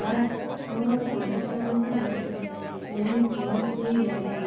ସାର ମୋର ପଞ୍ଚଚାଳିଶି ବର୍ଷ ମେନ୍ସେସ ବନ୍ଦ ହେଇଯାଇଛି